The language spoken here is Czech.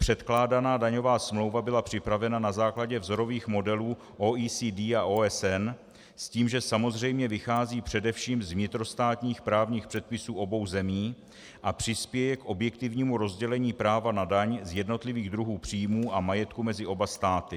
Předkládaná daňová smlouva byla připravena na základě vzorových modelů OECD a OSN s tím, že samozřejmě vychází především z vnitrostátních právních předpisů obou zemí a přispěje k objektivnímu rozdělení práva na daň z jednotlivých druhů příjmů a majetku mezi oba státy.